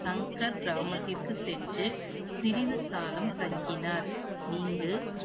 சங்கர் கிராமத்திற்கு சென்று சிறிது காலம் தங்கினார். இங்கு